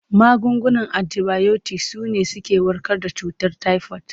Magungunan antibayotik su ne suke warkar da cutar tayifod.